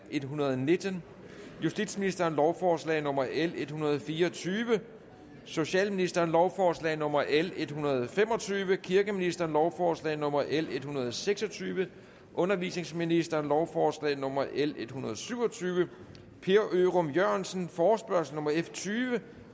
en hundrede og nitten justitsministeren lovforslag nummer l en hundrede og fire og tyve socialministeren lovforslag nummer l en hundrede og fem og tyve kirkeministeren lovforslag nummer l en hundrede og seks og tyve undervisningsministeren lovforslag nummer l en hundrede og syv og tyve per ørum jørgensen forespørgsel nummer f tyve